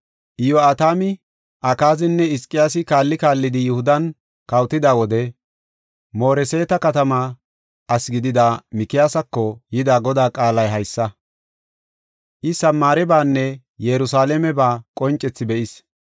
Iyo7atami Akaazinne Hizqiyaasi kaalli kaallidi Yihudan kawotida wode Mooreseeta katama asi gidida Mikiyaasako yida Godaa qaalay haysa: I Samaarebanne Yerusalaameba qoncethi be7is.